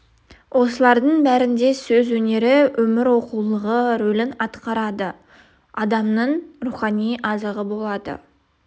осылардың бәрінде сөз өнері өмір оқулығы рөлін атқарады адамның рухани азығы болады